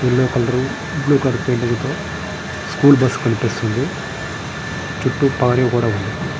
Yellow colour blue colour తో school bus కనిపిస్తూ వుంది. చుట్టూ ప్రహరీ గోడ వుంది.